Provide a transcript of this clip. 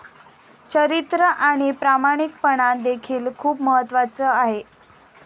चरित्र आणि प्रामाणिकपणा देखील खुप महत्त्वाचं आहे.